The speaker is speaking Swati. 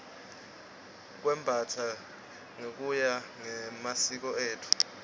kwembastsa ngekuya ngemasiko etfu